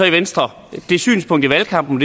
i venstre i valgkampen